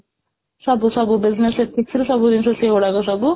ସବୁ ସବୁ business sector ରେ ସବୁ ଜିନିଷ ସେଇ ଭଳିଆ କ ସବୁ